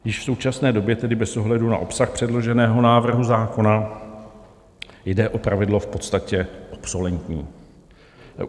Již v současné době tedy bez ohledu na obsah předloženého návrhu zákona jde o pravidlo v podstatě obsolentní.